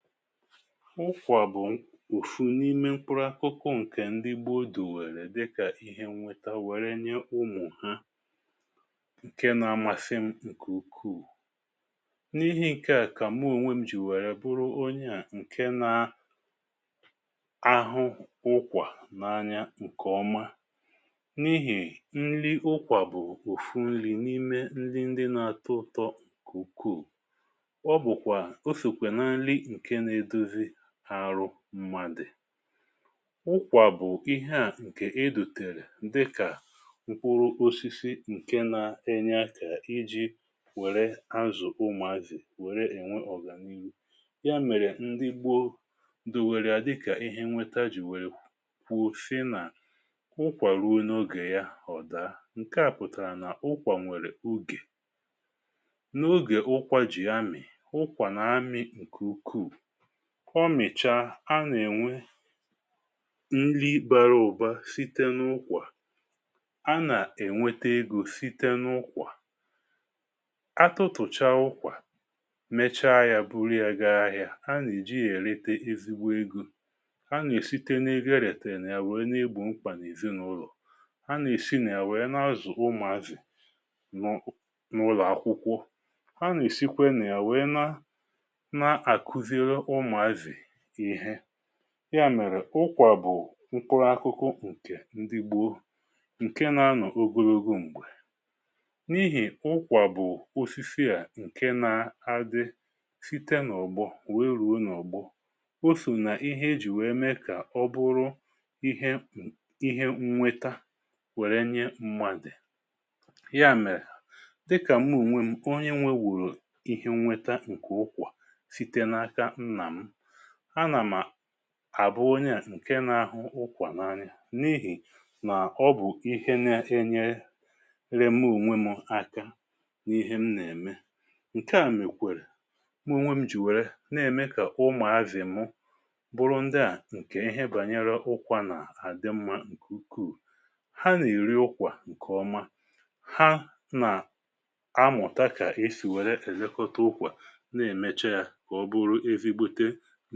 Ụkwà bụ̀ òfu n’ime mkpuru akụkụ ǹkè ndi gboo dù wèrè dịkà ihe nweta wère nye ụmụ̀ ha, ǹke na-amasị m ǹkè ukwuu, n’ihi̇ ǹkè à kà mùo ònwe m jì wèrè bụrụ onyeà ǹke na -ahụ ụkwà n’anya ǹkè ọma, n’ihì nri ụkwà bụ̀ òfu nri̇ n’ime ndi ndi na-atọ ụ̀tọ ǹkè ukwuù, ọbụkwa, ọsọ na nrị na edọzị ha arụ mmadụ. ụkwà bụ̀ ihe à ǹkè ịdụ̀tèrè ndị kà nkwụrụ osisi ǹke nȧ-ėnyė akà iji wère azụ̀ ụmụ̀azị̀ wère ènwe ọ̀gà n’ihu, ya mèrè ndị gbo ndụ̀ wère adịkà ihe nweta jì wère kwùo sina, ụkwà ruo n’ogè ya ọ̀da. ǹke à pụ̀tàrà nà ụkwà nwèrè ugè, n’ogè ụkwà jì amì, ụkwà na-amì ǹkè ukwuù. ọ mị̀chà a nà-ènwe nri bàrà ụ̀ba site n’ụkwà, a nà-ènwete egȯ site n’ụkwà, atutùcha ụkwà mechaa ya buru ya gaa ahịa, ha nà-èji èrita ezigbo egȯ, ha nà-èsite n’egoėrìètà ya wee n’igbò mkpà n’èzinàụlọ̀, ha nà-èsi nà ya wee na-azù ụmụ̀avì nụụ n’ụlọ̀ akwụkwọ, ha nà-èsikwe na ya wee na na-àkuziri ụmụazị ịhe, ya mèrè ụkwà bụ̀ nkwụrụ akụkụ ǹkè ndi gboo, ǹke nȧ-ȧnọ̀ ogologo m̀gbè. n’ihì ụkwà bụ̀ osisi à ǹke na-adi site n’ọ̀bọ̀ wee rùo n’ọ̀gbọ, o sò nà ihe e jì wee mee kà ọ bụrụ ihe ihe nnweta wère nye mmadì. ya mèrè dịkà m onwe m onye nwewùrù ihe nweta ǹkè ụkwà sịte na aka nna’m, ana àbụ onye à ǹke n’ahụ ụkwà n’anyị̀ n’ihì nà-ọbù ihe na-enyere mụe ònwe m ǹaka n’ihe m nà-ème, ǹke à mèkwèrè mụe ònwe m jì wère nà-ème kà ụmụ̀ azị̀ mụ bụrụ ndịà ǹkè ihe bànyere ụkwȧ nà-àdị mmȧ ǹkè ukwuù, ha nà-èri ụkwà ǹkè ọma, ha nà amụ̀ta kà esì wère èlekọta ụkwà nà-èmecha yȧ nà.